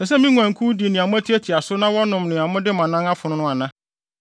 Ɛsɛ sɛ me nguankuw di nea moatiatia so na wɔnom nea mode mo anan afon ana?